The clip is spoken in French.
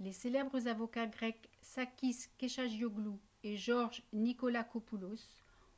les célèbres avocats grecs sakis kechagioglou et george nikolakopoulos